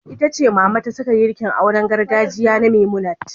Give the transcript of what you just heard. Ita ce Mama ta saka girkin auren gargajiya na Memunant.